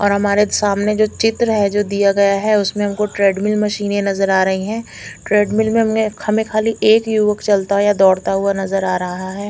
और हमारे सामने जो चित्र है जो दिया गया है उसमे हमको ट्रेडमिल मशीन नज़र आ रही है ट्रेडमिल में हमने हमें कहली एक युवक चलता या दौड़ता नज़र आ रहा है।